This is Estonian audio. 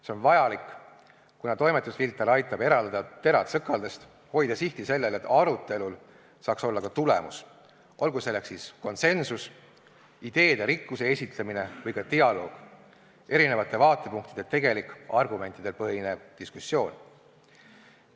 See on vajalik, kuna toimetusfilter aitab eraldada terad sõkaldest, hoida sihti sellel, et arutelul saaks olla ka tulemus, olgu selleks konsensus, ideerikkuse esitlemine või ka dialoog, erinevate vaatepunktide tegelik argumentidel põhinev diskussioon.